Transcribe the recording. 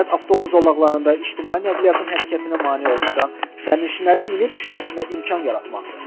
Məqsəd avtobus zolaqlarında ictimai nəqliyyatın hərəkətinə mane olmadan sərnişinlərin minib düşməsinə imkan yaratmaqdır.